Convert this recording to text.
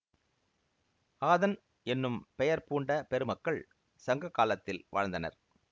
ஆதன் என்னும் பெயர் பூண்ட பெருமக்கள் சங்ககாலத்தில் வாழ்ந்தனர்